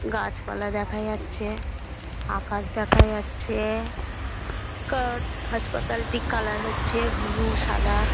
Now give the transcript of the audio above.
গাছপালা দেখা যাচ্ছে আকাশ দেখা যাচ্ছেএএএএ কোর্ট হাসপাতাল টি কালার হচ্ছে ব্লু সাদা।